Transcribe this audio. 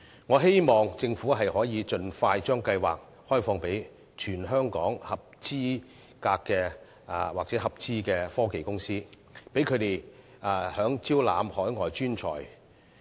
我希望政府能夠盡快把計劃開放予全港合資格或合資科技公司，讓他們更方便地招攬海外專才。